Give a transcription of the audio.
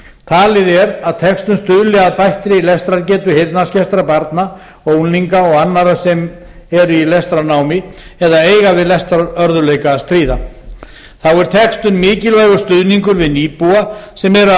talið er að textun stuðli að bættri lestrargetu heyrnarskertra barna og unglinga og annarra sem eru í lestrarnámi eða eiga við lestrarörðugleika að stríða þá er textun mikilvægur stuðningur við nýbúa sem